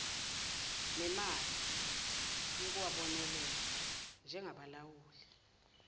nemali yokuwabonelela njengabalawuli